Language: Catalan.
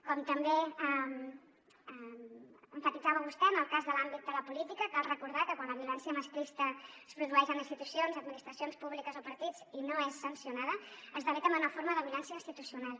com també emfatitzava vostè en el cas de l’àmbit de la política cal recordar que quan la violència masclista es produeix en institucions administracions públiques o partits i no és sancionada esdevé també una forma de violència institucional